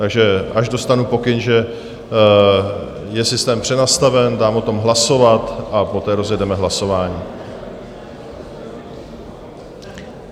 Takže až dostanu pokyn, že je systém přenastaven, dám o tom hlasovat a poté rozjedeme hlasování.